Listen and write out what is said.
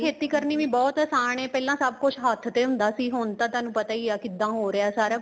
ਖੇਤੀ ਕਰਨੀ ਵੀ ਬਹੁਤ ਆਸਾਨ ਏ ਪਹਿਲਾਂ ਸਭ ਕੁੱਛ ਹੱਥ ਤੇ ਹੁੰਦਾ ਸੀ ਹੁਣ ਤੇ ਤੁਹਾਨੂੰ ਪਤਾ ਹੀ ਏ ਕਿੱਦਾਂ ਹੋ ਰਿਹਾ ਸਾਰਾ ਕੁੱਛ